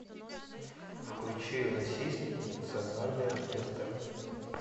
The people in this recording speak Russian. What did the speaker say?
включи российский национальный оркестр